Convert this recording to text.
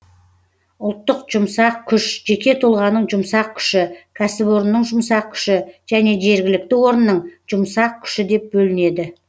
ұлттық жұмсақ күш жеке тұлғаның жұмсақ күші кәсіпорынның жұмсақ күші және жергілікті орынның жұмсақ күші деп бөлінеді